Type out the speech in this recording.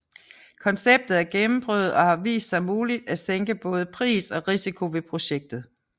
Konceptet er gennemprøvet og har vist sig muligt at sænke både pris og risiko ved projektet